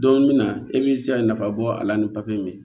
Don min na e b'i se nafa bɔ a la ni papaye min ye